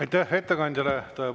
Aitäh ettekandjale!